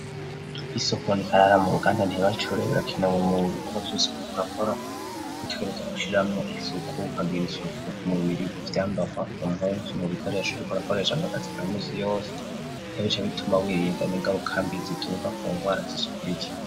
Isukunikarara mu ruganda ntibacure birakinawe mu bivuga vyose birikurakora gutegereza gushiramwo isuku ukagira isuku ku mubiri guvyambarwa ku mpumvu mu bikoresho rikurakoresha ngo gazizamesi yose ntebica bituma wirindana ingarukambi ziturka ku ngwara zisukuriya.